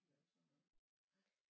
Lavede sådan noget